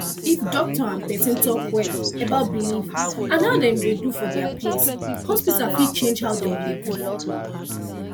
if doctor and person talk well about belief and how dem dey do for dia place hospital fit change how dem dey do